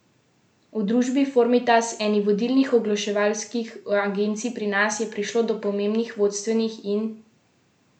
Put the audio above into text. V družbi Formitas, eni vodilnih oglaševalskih agencij pri nas, je prišlo do pomembnih vodstvenih in lastniških sprememb.